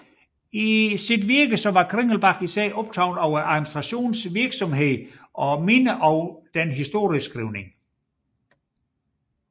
I sit virke var Kringelbach især optaget af admistrationens virksomhed og mindre af den historieskrivning